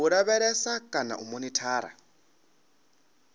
u lavhelesa kana u monithara